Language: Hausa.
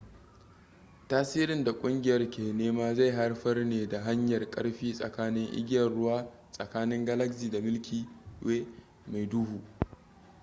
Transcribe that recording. tasirin da ƙungiyar ke nema zai haifar ne ta hanyar karfi tsakanin igiyar ruwa tsakanin galaxy da milky way mai duhu